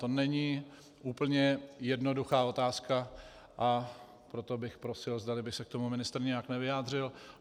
To není úplně jednoduchá otázka, a proto bych prosil, zdali by se k tomu ministr nějak nevyjádřil.